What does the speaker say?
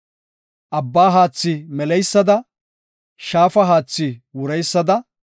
Abbaa haathi meleysada, shaafa haathi wureysada,